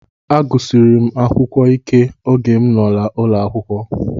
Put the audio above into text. Mma nsikpep n̄kpọ etieti ke ini n̄kodude ke ufọkn̄wed.